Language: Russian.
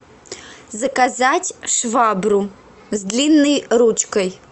заказать швабру с длинной ручкой